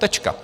Tečka.